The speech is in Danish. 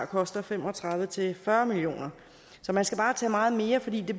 koster fem og tredive til fyrre million kroner så man skal bare tage meget mere fordi det